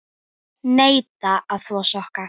Neita að þvo sokka.